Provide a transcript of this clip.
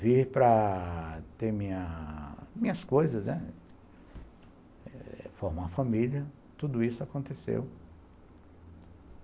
vir para ter minhas coisas, né, formar família, tudo isso aconteceu.